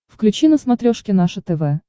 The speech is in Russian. включи на смотрешке наше тв